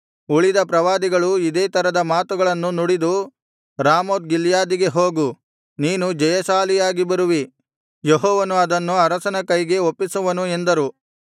ಉಳಿದ ಪ್ರವಾದಿಗಳೂ ಇದೇ ತರದ ಮಾತುಗಳನ್ನು ನುಡಿದು ರಾಮೋತ್ ಗಿಲ್ಯಾದಿಗೆ ಹೋಗು ನೀನು ಜಯಶಾಲಿಯಾಗಿ ಬರುವಿ ಯೆಹೋವನು ಅದನ್ನು ಅರಸನ ಕೈಗೆ ಒಪ್ಪಿಸುವನು ಎಂದರು